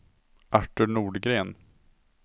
Artur Nordgren